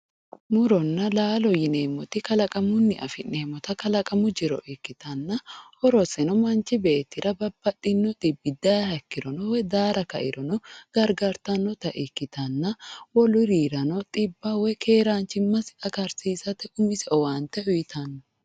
muronna laalo yineemmoti kalaqamunni afi'neemmota kalaqamu jiro ikkitanna horoseno manchi beettira babbaxino xibbi dayiiha ikkiro woyi daara kairono gargartannota ikkitanna wolurirano xibba woyi keeraanchimma agarsiisate umise owaante uyiitanno.